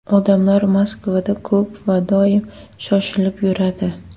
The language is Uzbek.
Odamlar Moskvada ko‘p va doim shoshilib yuradi.